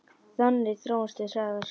Þannig þróumst við hraðar.